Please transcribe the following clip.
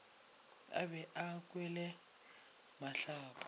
o be a kwele mahlapa